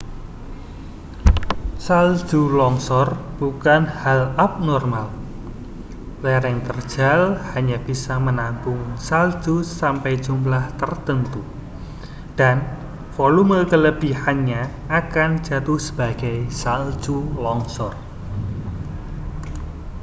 salju longsor bukan hal abnormal lereng terjal hanya bisa menampung salju sampai jumlah tertentu dan volume kelebihannya akan jatuh sebagai salju longsor